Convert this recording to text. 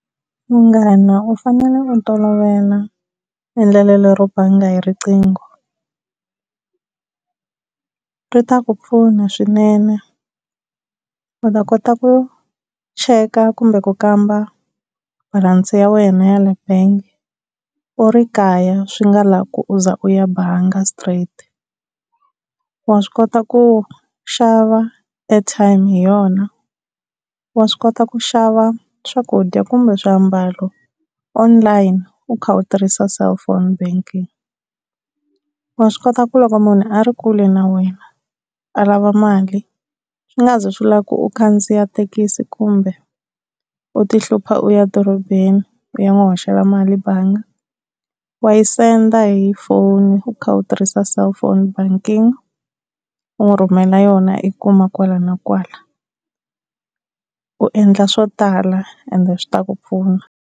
Munghana u fanele u tolovela endlelo lero banga hi rinqingo. Ri ta ku pfuna swinene u ta kota ku cheka kumbe ku kamba balansi ya wena ya le bangi u ri kaya, swi nga lavi ku u za u ya bangi straight. Wa swi kota ku xava airtime hi yona, wa swi kota ku xava swakudya kumbe swiambalo online u kha u tirhisa cellphone banking. Wa swi kota ku loko munhu a ri kule na wena a lava mali swi nga zi swi lava ku u khandziya thekisi kumbe u ti hlupha u ya dorobeni u ya n'wu hoxela mali bangi wa yi senda hi foni, u kha u tirhisa cellphone banking u n'wi rhumela yona a yi kuma kwala na kwala u endla swo tala ende swi ta ku pfuna.